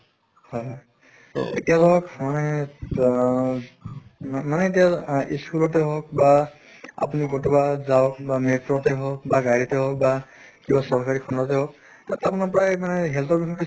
হয় হয় so এতিয়া ধৰক মানে তা ম মানে এতিয়া আহ school ত হওঁক বা আপোনি কতোবা যাওঁক বা metro তে হওঁক বা গাড়ীতে হওঁক বা কিবা চৰকাৰী তে হওঁক তাত আপোনাৰ প্ৰায় মানে health ৰ বিষয়ে